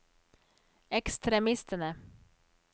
ekstremistene